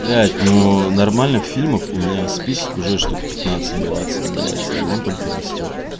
блять ну нормальных фильмов у меня список уже штук пятнадцать двадцать блять и он только растёт